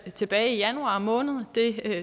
tilbage i januar måned det